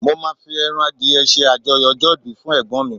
mo ma fi eran adìye se ajoyọ ọjọ ibi fún egbon mi